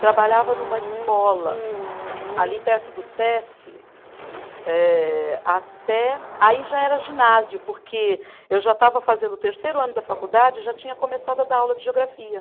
Trabalhava numa escola ali perto do Sesc, eh até. Aí já era ginásio, porque eu já estava fazendo o terceiro ano da faculdade e já tinha começado a dar aula de geografia.